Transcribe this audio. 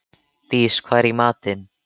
Dís, hvað er í matinn?